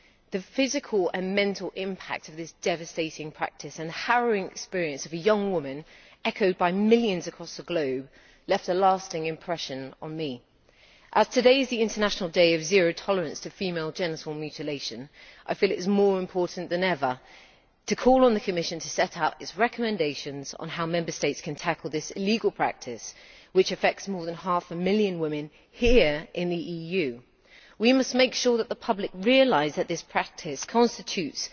The physical and mental impact of this devastating practice and the harrowing experience of a young woman, echoed by millions across the globe, left a lasting impression on me. As today is the International Day of Zero Tolerance to Female Genital Mutilation, I feel it is more important than ever to call on the Commission to set out its recommendations on how Member States can tackle this illegal practice, which affects more than half a million women here in the EU. We must make sure that the public realise that this practice constitutes